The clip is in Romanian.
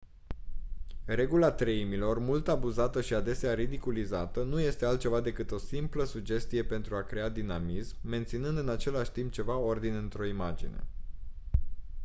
regula treimilor mult abuzată și adesea ridiculizată nu este altceva decât o simplă sugestie pentru a crea dinamism menținând în același timp ceva ordine într-o imagine